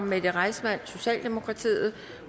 mette reissmann